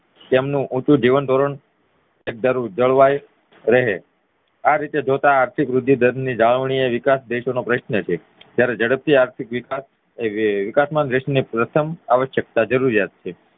તેમનું ઉંચુ જીવનધોરણ જળવાઈ રહે આ રીતે જોતા આર્થિક વૃદ્ધિ દર ની જાળવણીએ વિકાસદેશો નો પ્રશ્ન છે જયારે ઝડપથી આર્થિક વિકાસ એ વિકાસમાં દેશની પ્રથમ આવશ્યકતા જરોરિયાત છે